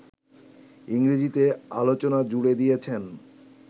ইংরেজিতে আলোচনা জুড়ে দিয়েছেন